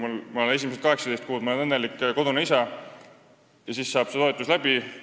Ma olen esimesed 18 kuud õnnelik kodune isa, aga siis saab toetus otsa.